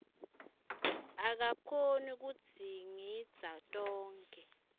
akakhoni kudzingidza tonkhe